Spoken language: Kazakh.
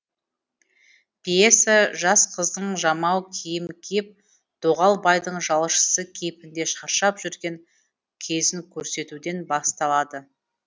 пьеса жас қыздың жамау киім киіп доғал байдың жалшысы кейпінде шаршап жүрген кезін көрсетуден басталады